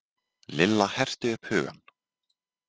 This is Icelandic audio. Lilla herti upp hugann.